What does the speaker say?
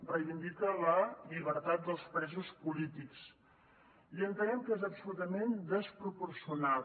reivindica la llibertat dels presos polítics i entenem que és absolutament desproporcionat